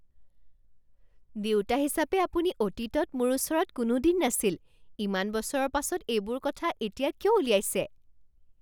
দেউতা হিচাপে আপুনি অতীতত মোৰ ওচৰত কোনোদিন নাছিল। ইমান বছৰৰ পাছত এইবোৰ কথা এতিয়া কিয় উলিয়াইছে?